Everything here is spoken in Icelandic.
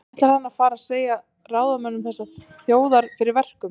Ætlar hann að fara að segja ráðamönnum þessarar þjóðar fyrir verkum?